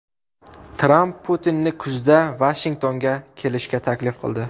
Tramp Putinni kuzda Vashingtonga kelishga taklif qildi.